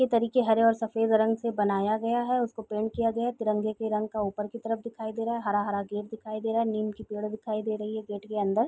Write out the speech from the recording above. के तरीके हरे और सफेद रंग से बनाया गया है | उसको पेंट किया गया है | तिरंगे की रंग का ऊपर की तरफ दिखाई दे रहा है | हरा हरा गेट दिखाई दे रहा है | नीम की पेड़ दिखाई दे रही है गेट के अंदर |